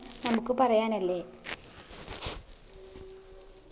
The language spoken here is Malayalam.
നമുക്ക് പറയാനല്ലേ